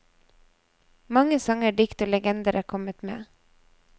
Mange sanger, dikt og legender er kommet med.